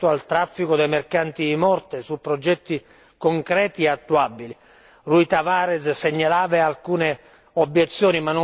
Sono importanti sia la prevenzione che il contrasto al traffico dei mercanti di morte, su progetti concreti e attuabili. L'on.